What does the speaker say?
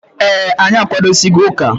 Ee, anyị akwadosigo ụka.